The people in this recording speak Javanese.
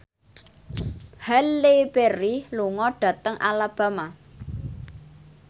Halle Berry lunga dhateng Alabama